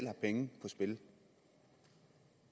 har penge på spil